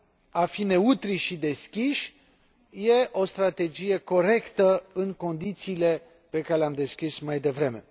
A fi neutri și deschiși e o strategie corectă, în condițiile pe care le am descris mai devreme.